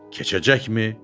Keçəcəkmi?